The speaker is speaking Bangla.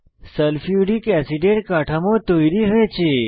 সালফিউরিক অ্যাসিডের কাঠামো তৈরী হয়েছে